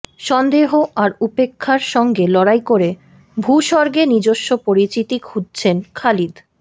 সন্দেহ আর উপেক্ষার সঙ্গে লড়াই করে ভূস্বর্গে নিজস্ব পরিচিতি খুঁজছেন খালিদ